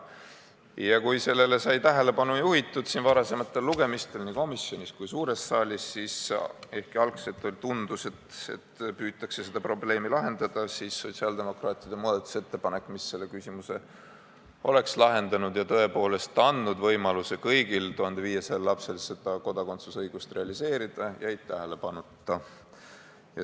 Kuigi sellele sai tähelepanu juhitud varasematel lugemistel nii komisjonis kui ka suures saalis ja ehkki alguses tundus, et püütakse seda probleemi lahendada, siis sotsiaaldemokraatide muudatusettepanek, mis selle küsimuse oleks lahendanud ja tõepoolest andnud kõigile 1500 lapsele võimaluse kodakondsusõigust realiseerida, jäi tähelepanuta.